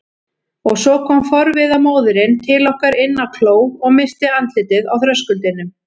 Og svo kom forviða móðirin til okkar inn á kló og missti andlitið á þröskuldinum.